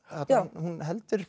hún heldur